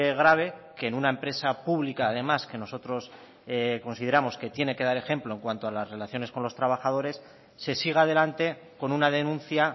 grave que en una empresa pública además que nosotros consideramos que tiene que dar ejemplo en cuanto a las relaciones con los trabajadores se siga adelante con una denuncia